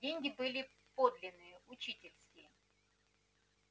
деньги были подлинные учительские